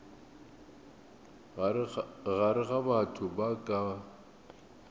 gare ga batho ba ka